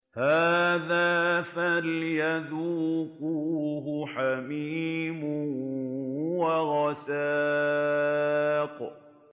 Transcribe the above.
هَٰذَا فَلْيَذُوقُوهُ حَمِيمٌ وَغَسَّاقٌ